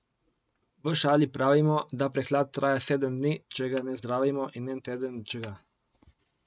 V šali pravimo, da prehlad traja sedem dni, če ga ne zdravimo, in en teden, če ga.